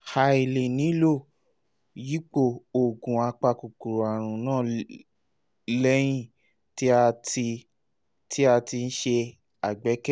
a lè nílò yípo oògùn apakòkòrò àrùn náà lẹ́yìn tí à ń tí à ń ṣe àgbékalẹ̀